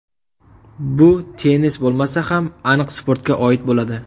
Bu tennis bo‘lmasa ham, aniq sportga oid bo‘ladi.